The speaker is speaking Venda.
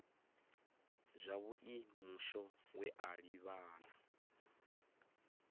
zwavhui mushumo we a livhana